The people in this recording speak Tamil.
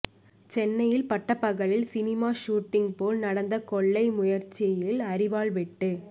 சென்னையில் பட்டப்பகலில் சினிமா ஷூட்டிங் போல் நடந்த கொள்ளை முயற்சியில் அரிவாள் வெட்டு